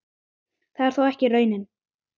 Það er þó ekki raunin.